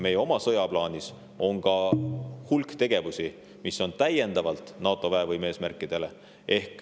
Meie oma sõjaplaanis on ka hulk tegevusi lisaks NATO väevõime eesmärkidele.